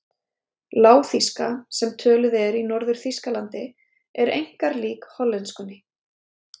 Lágþýska, sem töluð er í Norður-Þýskalandi, er einkar lík hollenskunni.